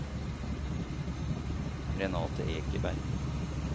Renathe Egeberg